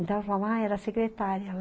Então eu falava, ah, era secretária.